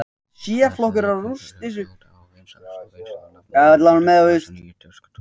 Þessi leikföng urðu fljótt afar vinsæl, svo vinsæl að nafnið yfirfærðist á þessar nýju tuskudúkkur.